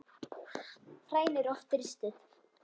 Fræin eru oft ristuð.